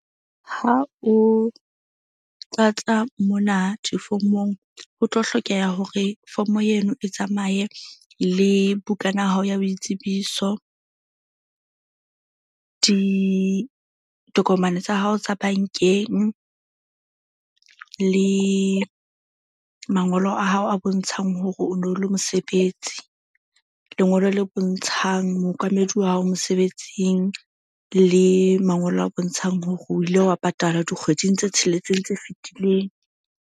Ha o tlatsa mona difomong ho tlo hlokeha hore form-o eno e tsamaye le bukana ya hao ya boitsebiso, ditokomane tsa hao tsa bank-eng, le mangolo a hao a bontshang hore o no le mosebetsi. Lengolo le bontshang mookamedi wa hao mosebetsing le mangolo a bontshang hore o ile wa patala dikgweding tse tsheletseng tse fetileng.